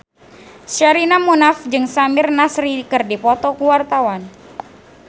Sherina Munaf jeung Samir Nasri keur dipoto ku wartawan